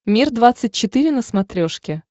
мир двадцать четыре на смотрешке